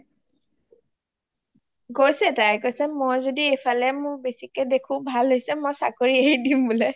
কৈছে তাই কৈছে মই যদি ইফালে মোৰ বেচিকে দেখো ভাল হৈছে বুলে মই চাকৰি এৰি দিম বোলে